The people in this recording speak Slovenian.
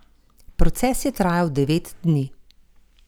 Proces je trajal devet dni.